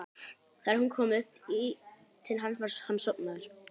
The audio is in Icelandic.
Þegar hún kom upp í til hans var hann sofnaður.